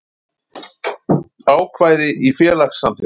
Ákvæði í félagssamþykktum.